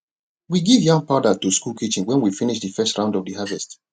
we give yam powder to school kitchen when we finish de first round of de harvest